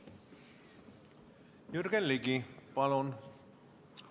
Jürgen Ligi, palun!